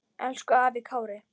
Elsku afi Kári.